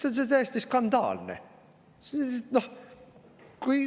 See on täiesti skandaalne!